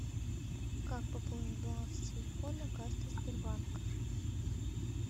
как пополнить баланс телефона картой сбербанка